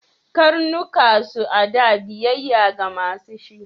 Karnuka su a da biyayya ga ma su shi.